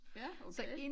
Ja okay